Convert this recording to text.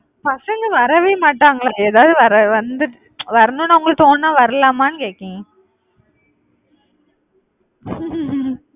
பசங்க வரவே மாட்டாங்களா எதாவது வர~ வந்து வரணும்னு அவங்களுக்கு தோணுனா வரலாமான்னு கேட்கிறேன்